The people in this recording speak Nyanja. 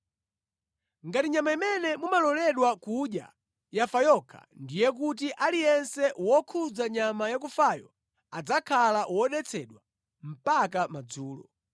“ ‘Ngati nyama imene mumaloledwa kudya yafa yokha, ndiye kuti aliyense wokhudza nyama yakufayo adzakhala wodetsedwa mpaka madzulo.